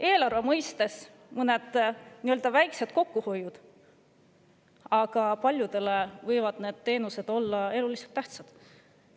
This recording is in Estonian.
Eelarve mõistes on need väikesed kokkuhoiud, aga paljude inimeste jaoks on tegemist eluliselt tähtsate teenustega.